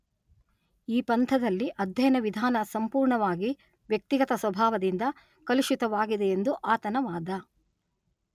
ಈ ಪಂಥದಲ್ಲಿ ಅಧ್ಯಯನ ವಿಧಾನ ಸಂಪುರ್ಣವಾಗಿ ವ್ಯಕ್ತಿಗತ ಸ್ವಭಾವದಿಂದ ಕಲುಷಿತವಾಗಿದೆಯೆಂದು ಆತನ ವಾದ.